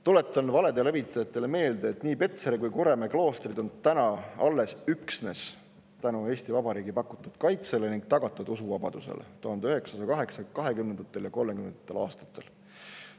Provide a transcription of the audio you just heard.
Tuletan valede levitajatele meelde, et nii Petseri kui Kuremäe klooster on täna alles üksnes tänu Eesti Vabariigi pakutud kaitsele ning tagatud usuvabadusele 1920. ja 1930. aastatel.